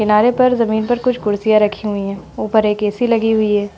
किनारे पर जमीन पर कुछ कुर्सियां रखी हुईं है ऊपर एक ऐ.सी. लगी हुई है।